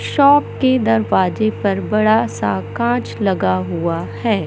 Shop के दरवाजे पर बड़ा सा कांच लगा हुआ है।